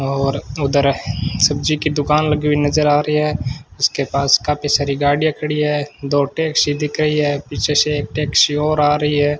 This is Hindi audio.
और उधर सब्जी की दुकान लगी हुई नजर आ रही है उसके पास काफी सारी गाड़ियां खड़ी है दो टैक्सी दिख रही है पीछे से एक टैक्सी और आ रही है।